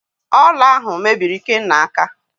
Ọla ahụ mebiri Ikenna aka